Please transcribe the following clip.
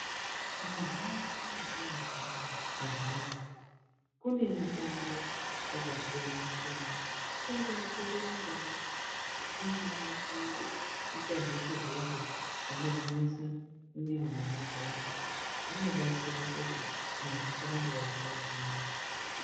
Muntaraunda metinogara antu woye kune mutambo yakasiyana siyana kungaa kurumba kungaa kuita zveshe zveshe zvinogwinyisa mwiri nemabhonzo zvinobatsira kuti muntu asarambe eirwara rwara.